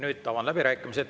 Nüüd avan läbirääkimised.